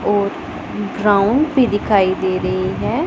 और ग्राउंड भी दिखाई दे रही है।